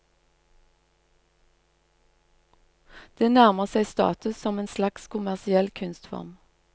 Den nærmer seg status som en slags kommersiell kunstform.